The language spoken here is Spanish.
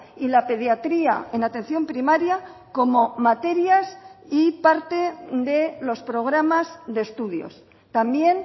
y la pediatría en atención primaria como materias y parte de los programas de estudios también